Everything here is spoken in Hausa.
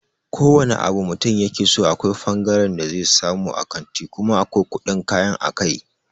Ko wane abu mutum yakeso akwai fangaren da zai samu a kanti kuma akwai kuɗin kayan a kai.